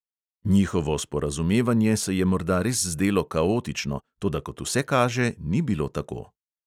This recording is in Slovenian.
Njihovo sporazumevanje se je morda res zdelo kaotično, toda kot vse kaže, ni bilo tako.